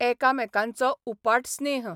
एकामेकांचो उपाट स्नेह.